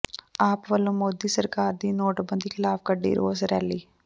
ਆਪ ਵੱਲੋਂ ਮੋਦੀ ਸਰਕਾਰ ਦੀ ਨੋਟਬੰਦੀ ਖਿਲਾਫ ਕੱਢੀ ਰੋਸ ਰੈਲੀ